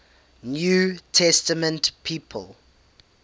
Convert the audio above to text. new testament people